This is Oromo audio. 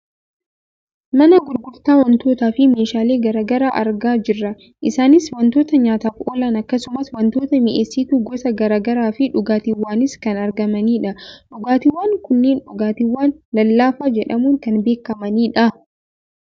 Mana gurgurtaa wantootaa fi meeshaalee gara garaa argaa jirra. Isaaniis wantoota nyaataaf oolan akkasumas wantoota mi'eessitu gosa gara garaa fi dhugaaatiwwanis kan argamanidha. Dhugaatiwwan kunneen dhugaatiwwan lallaafaa jedhamuun kan beekkamanidha.